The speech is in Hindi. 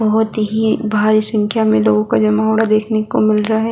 बहुत ही भारी संख्या मे लोगों का जमवाड़ा देखने को मिल रहा हैं।